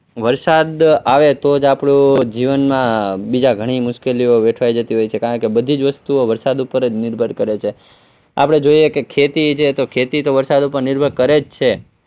વરસાદ આવે તો જ આપણું જીવનમાં બીજા ઘણી મુશ્કેલીઓ જતી હોય છે કારણ કે બધી જ વસ્તુઓ વરસાદ ઉપર જ નિર્ભર કરે છે આપણે જોઈએ તો ખેતી છે તો ખેતી તો વરસાદ ઉપર નિર્ભર કરે જ છે.